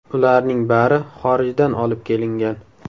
Ularning bari xorijdan olib kelingan.